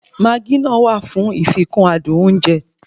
Maagí náà wà fún ìfikún adùn oúnjẹ